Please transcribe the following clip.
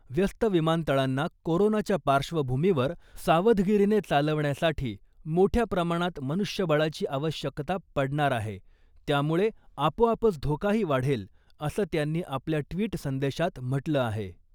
व्यस्त विमानतळांना कोरोनाच्या पार्श्वभूमीवर सावधगिरीने चालविण्यासाठी मोठ्या प्रमाणात मनुष्यबळाची आवश्यकता पडणार आहे , त्यामुळे आपोआपच धोका ही वाढेल, असं त्यांनी आपल्या ट्विट संदेशात म्हटलं आहे .